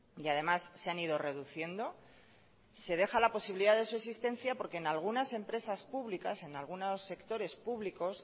y además se han ido reduciendo se deja la posibilidad de su existencia porque en algunas empresas públicas en algunos sectores públicos